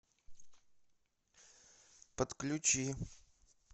подключи